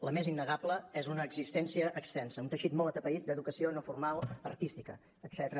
la més innegable és una existència extensa un teixit molt atapeït d’educació no formal artística etcètera